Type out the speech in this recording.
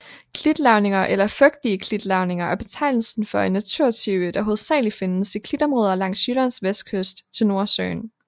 Klitlavninger eller Fugtige klitlavninger er betegnelsen for en naturtype der hovedsageligt findes i klitområder langs Jyllands vestkyst til Nordsøen